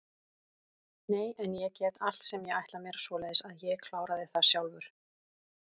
Nei en ég get allt sem ég ætla mér, svoleiðis að ég kláraði það sjálfur.